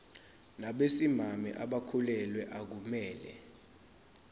nabesimame abakhulelwe akumele